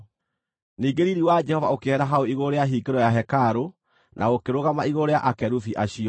Ningĩ riiri wa Jehova ũkĩehera hau igũrũ rĩa hingĩro ya hekarũ na ũkĩrũgama igũrũ rĩa akerubi acio.